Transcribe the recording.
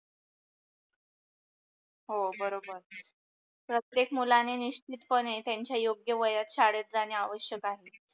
हो बरोबर. प्रतेक मुलाने निश्चितपणे त्यांच्या योग्य वयात शाळेत जाणे आवश्यक आहे.